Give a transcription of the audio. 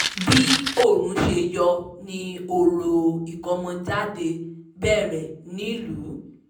bí oòrùn ṣe yọ ni òrò ìkómọjáde bẹ̀rẹ̀ nílùú